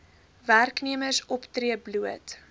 werknemers optree bloot